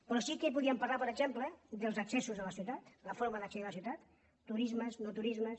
però sí que podríem parlar per exemple dels accessos a la ciutat la forma d’accedir a la ciutat turismes no turismes